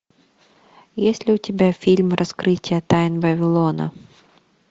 есть ли у тебя фильм раскрытие тайн вавилона